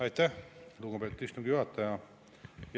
Aitäh, lugupeetud istungi juhataja!